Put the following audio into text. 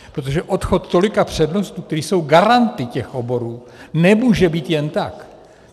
Protože odchod tolika přednostů, kteří jsou garanty těch oborů, nemůže být jen tak.